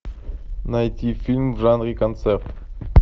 найти фильм в жанре концерт